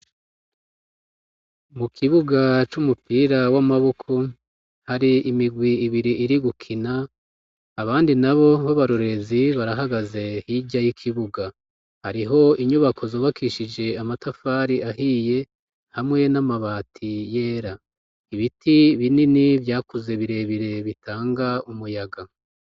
Mu kibuga c'umupira w'amaboko hari imigwi ibiri iri gukina abandi na bo b'abarorezi barahagaze hirya y'ikibuga hariho inyubako zobakishije amatafari ahiye hamwe n'amabati yera ibiti binini vyake ze birebire bitanga umuyaga.